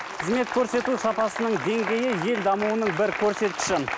қызмет көрсету сапасының деңгейі ел дамуының бір көрсеткіші